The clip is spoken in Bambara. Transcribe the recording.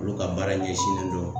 Olu ka baara ɲɛsinnen don